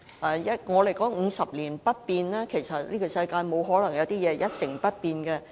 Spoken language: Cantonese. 我們說 "50 年不變"，但在這世界上，不可能有東西是一成不變的。